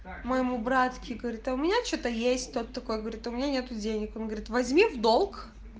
моему братске говорит а у меня что-то есть такой говорит у меня нету денег он говорит возьми в долг